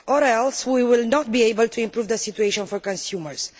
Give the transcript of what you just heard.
Otherwise, we will not be able to improve the situation for consumers.